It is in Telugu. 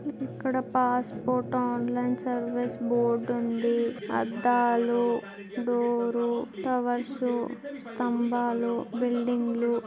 ఇక్కడ పాసుపోర్టు ఆన్లైన్ సర్వీస్ బోర్డు ఉంది . అద్దాలు డోర్స్ టవర్స్ స్తంభాలు బిల్డింగులు--